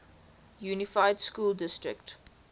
unified school district